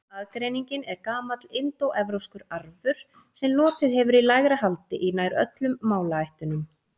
Aðgreiningin er gamall indóevrópskur arfur sem lotið hefur í lægra haldi í nær öllum málaættunum.